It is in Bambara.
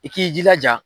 I k'i jilaja